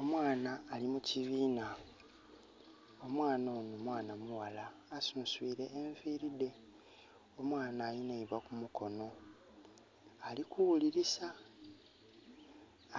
Omwana ali mu kibiina. Omwana onho mwana mughala asuswile enviiri dhe. Omwana alina eibwa ku mukono. Ali kughulilisa.